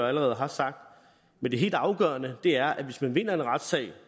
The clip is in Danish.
allerede har sagt men det helt afgørende er at hvis man vinder en retssag